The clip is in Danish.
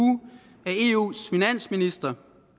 af eus finansminister